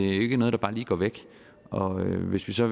ikke noget der bare lige går væk og hvis vi så